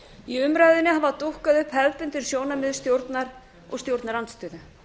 í umræðunni hafa dúkkað upp hefðbundin sjónarmið stjórnar og stjórnarandstöðu